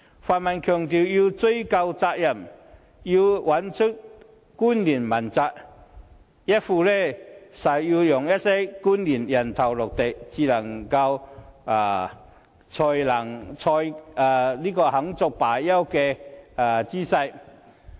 泛民強調要追究責任，找出官員問責，一副誓要讓一些官員"人頭落地"才肯罷休的姿勢。